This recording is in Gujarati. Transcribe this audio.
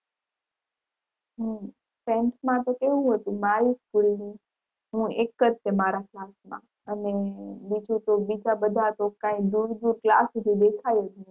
હમ tenth માં તો કેવું હતું મારી school ની હું એક જ તે મારા class માં અને બીજી તો બીજા બધા તો કઈ દૂર દૂર class સુધી દેખાય જ નહીં.